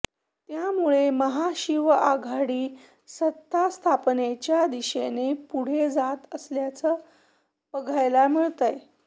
त्यामुळे महाशिवआघाडी सत्तास्थापनेच्या दिशेने पुढे जात असल्याचं बघायला मिळतंय